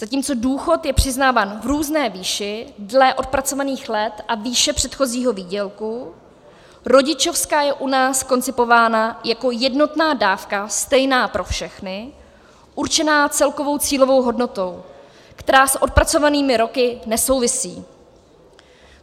Zatímco důchod je přiznáván v různé výši dle odpracovaných let a výše předchozího výdělku, rodičovská je u nás koncipována jako jednotná dávka stejná pro všechny, určená celkovou cílovou hodnotou, která s odpracovanými roky nesouvisí.